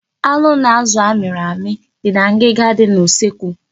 Anụ na azụ a mịrị amị dị na ngịga dị n'usekwu.